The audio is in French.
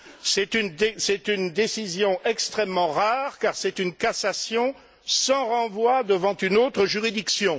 C'est une décision extrêmement rare car c'est une cassation sans renvoi devant une autre juridiction.